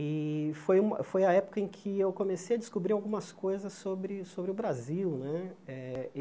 E foi uma foi a época em que eu comecei a descobrir algumas coisas sobre sobre o Brasil né. Eh